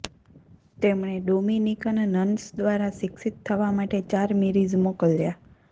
તેમણે Dominican nuns દ્વારા શિક્ષિત થવા માટે ચાર મીરીઝ મોકલ્યા